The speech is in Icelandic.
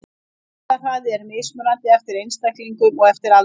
Vaxtarhraði er mismunandi eftir einstaklingum og eftir aldri.